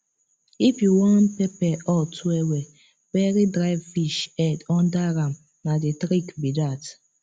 if you wan pepper hot wellwell bury dry fish head under am na the trick be that